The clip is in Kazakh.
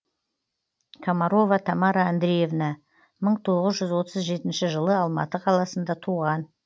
комарова тамара андреевна мың тоғыз жүз отыз жетінші жылы алматы қаласында туған